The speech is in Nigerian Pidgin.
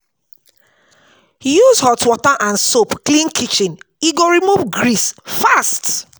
Use hot water and soap clean kitchen, e go remove grease fast.